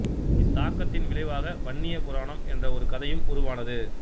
இத்தாக்கத்தின் விளைவாக வன்னிய புராணம் என்ற ஒரு கதையும் உருவானது